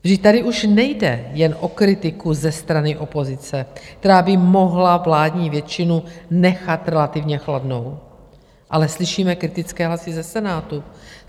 Vždyť tady už nejde jen o kritiku ze strany opozice, která by mohla vládní většinu nechat relativně chladnou, ale slyšíme kritické hlasy ze Senátu.